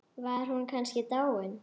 Var hún kannski dáin?